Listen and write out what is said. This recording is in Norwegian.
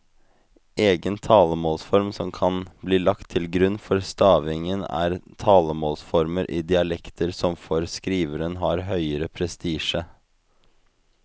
Egen talemålsform kan bli lagt til grunn for stavingen eller talemålsformer i dialekter som for skriveren har høgere prestisje.